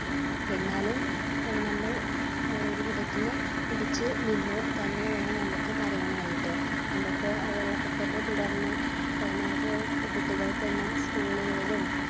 എന്നാലും ഏർ നമ്മൾ ഒരു വിധത്തിൽ പിടിച്ച് നിന്നു തന്നെ വേണം നമുക്ക് പറയാനായിട്ട് നമുക്ക് അഹ് വെള്ളപ്പൊക്കത്തെ തുടർന്ന് ഏർ നമുക്ക് കുട്ടികൾക്കൊന്നും school കളിലും